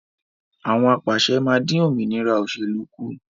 Àwọn apàṣẹ máa dín òmìnira òsèlú kù